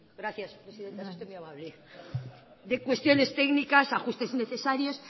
gracias presidenta es usted muy amable de cuestiones técnicas ajustes innecesarios